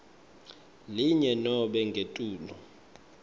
linye nobe ngetulu